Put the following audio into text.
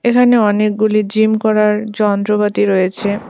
এখানে অনেকগুলি জিম করার যন্ত্রপাতি রয়েছে।